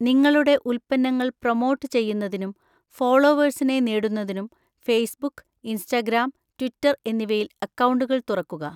നിങ്ങളുടെ ഉൽപ്പന്നങ്ങൾ പ്രൊമോട്ട് ചെയ്യുന്നതിനും ഫോളോവേഴ്സിനെ നേടുന്നതിനും ഫേസ്ബുക്ക്, ഇൻസ്റ്റാഗ്രാം, ട്വിറ്റർ എന്നിവയിൽ അക്കൗണ്ടുകൾ തുറക്കുക.